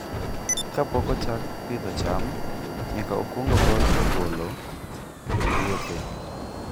Kapok ochak pidho cham, nyaka okwong ogol ogolo e puothe.